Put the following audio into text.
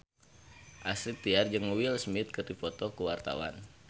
Astrid Tiar jeung Will Smith keur dipoto ku wartawan